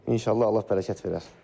İnşallah, Allah bərəkət verər.